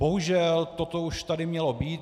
Bohužel toto už tady mělo být.